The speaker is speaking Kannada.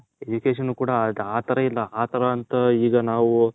education ಕೂಡ ಆ ತರ ಇಲ್ಲ ಆ ತರ ಇಂಥ ಈಗ ನಾವು.